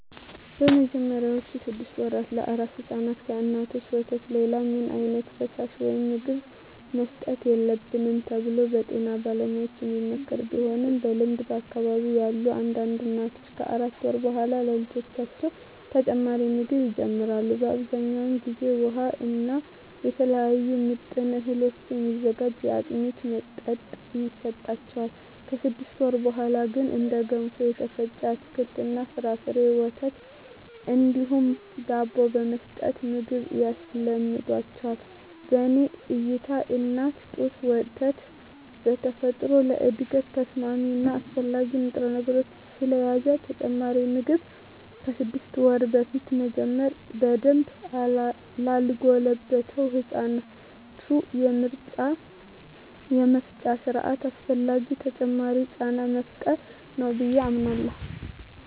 በመጀመሪያዎቹ ስድስት ወራ ለአራስ ሕፃናት ከእናቶች ወተት ሌላ ምንም ዓይነት ፈሳሽ ወይም ምግብ መሰጠት የለበትም ተብሎ በጤና ባለሙያዎች የሚመከር ቢሆንም በልምድ በአካባቢየ ያሉ አንዳንድ እናቶች ከአራት ወር በኃላ ለልጆቻቸው ተጨማሪ ምግብ ይጀምራሉ። በአብዛኛው ጊዜ ውሃ እና ከተለያዩ ምጥን እህሎች የሚዘጋጅ የአጥሚት መጠጥ ይሰጣቸዋል። ከስድስት ወር በኀላ ግን እንደ ገንፎ፣ የተፈጨ አትክልት እና ፍራፍሬ፣ ወተት እንዲሁም ዳቦ በመስጠት ምግብ ያስለምዷቸዋል። በኔ እይታ የእናት ጡት ወተት በተፈጥሮ ለእድገት ተስማሚ እና አስፈላጊ ንጥረነገሮችን ስለያዘ ተጨማሪ ምግብ ከስድስት ወር በፊት መጀመር በደንብ ላልጎለበተው የህፃናቱ የመፍጫ ስርአት አላስፈላጊ ተጨማሪ ጫና መፍጠር ነው ብየ አምናለሁ።